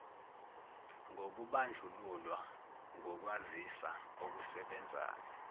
nokubandlululwa ngokwazisa okusebenzayo